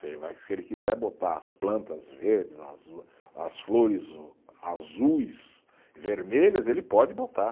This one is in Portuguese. Se ele vai, se ele quiser botar as plantas verdes, as flores azuis, vermelhas, ele pode botar.